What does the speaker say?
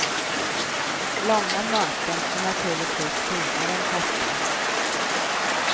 Långa möten är naturligtvis finare än korta.